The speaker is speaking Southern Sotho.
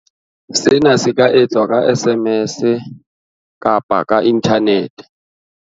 Sena se ka etswa ka SMS kapa ka inthanete.